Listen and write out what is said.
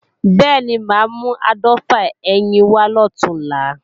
Bẹ́ẹ̀ni, mà á mú áàdọ́fà ẹyin wá lọ̀túnla